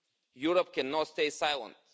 Europe cannot stay silent.